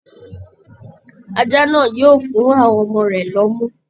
Ajá náà yóò fún àwọn ọmọ rẹ̀ lómú